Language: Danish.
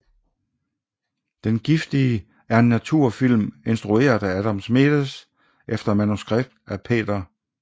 Den giftige er en naturfilm instrueret af Adam Schmedes efter manuskript af Peter I